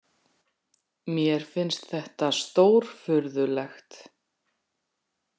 Mér finnst þetta stórfurðulegt.